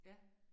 Ja